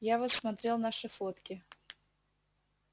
я вот смотрел наши фотки